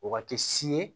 O waati si ye